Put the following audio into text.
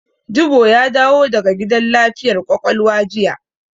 Jibo ya dawo daga gidan lafiyar ƙwaƙwalwa jiya.